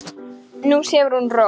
Nú sefur hún rótt.